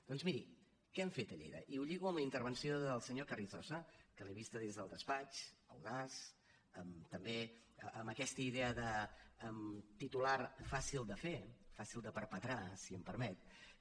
doncs miri què hem fet a lleida i ho lligo amb la intervenció del senyor carrizosa que l’he vista des del despatx audaç també amb aquesta idea de titular fàcil de fer fàcil de perpetrar si em permet